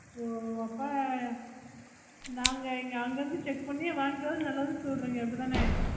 ஓ அப்போ நாங்க இங்க அங்க இருந்து check பண்ணி வாங்கிட்டு வந்தது நல்லதுன்னு சொல்லறீங்க அப்புடித்தான